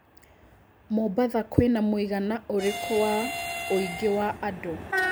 Mombasa kwĩna mũigana ũrĩkũ wa ũingĩ wa andũ